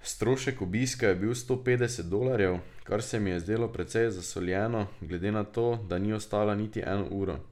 Strošek obiska je bil sto petdeset dolarjev, kar se mi je zdelo precej zasoljeno, glede na to, da ni ostala niti eno uro.